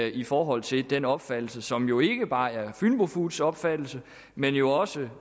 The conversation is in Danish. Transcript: i forhold til den opfattelse som jo ikke bare er fynbo foods opfattelse men jo også